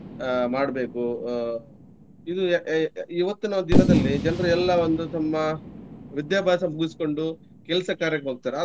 ಅಹ್ ಮಾಡ್ಬೇಕು ಅಹ್ ಇ~ ಇವತ್ತಿನ ದಿನದಲ್ಲಿ ಜನರು ಎಲ್ಲಾ ಒಂದು ತಮ್ಮ ವಿದ್ಯಾಭ್ಯಾಸ ಮುಗಿಸ್ಕೊಂಡು ಕೆಲ್ಸಕಾರ್ಯಕ್ಕೆ ಹೋಗ್ತಾರೆ.